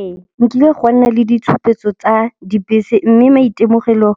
Ee, nkile gwa nna le ditshupetso tsa dibese mme maitemogelo